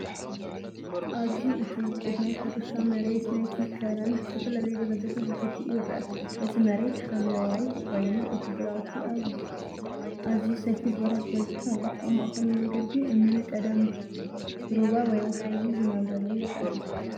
ኣብዚ እቲ ውቁብ ናይ ሕርሻ መሬት ናይቲ ከረን ብዝተፈላለየ ደረጃታት ተተኪኡ ይርአ። እቲ መሬት ሓምላይ ኮይኑ እቲ ግራውቲ ኣብ ኣዝዩ ሰፊሕ ቦታ ተዘርጊሑ ኣሎ። ኣብ ማእከሉ መንገዲ እምኒን ቀደም ሩባ ወይ ወሓዚ ዝነበረሉ ይረአ።